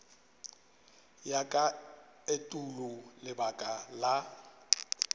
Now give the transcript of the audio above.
ya ka etulo lebaka la